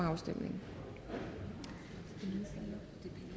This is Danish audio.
afstemning